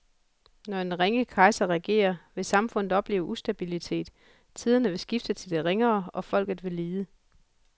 Når en ringe kejser regerer, vil samfundet opleve ustabilitet, tiderne vil skifte til det ringere og folket vil lide.